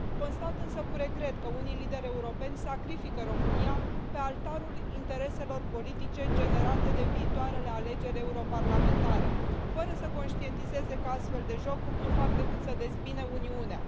Constat însă cu regret că unii lideri europeni sacrifică România pe altarul intereselor politice generate de viitoarele alegeri europarlamentare, fără să conștientizeze că astfel de jocuri nu fac decât să dezbine Uniunea.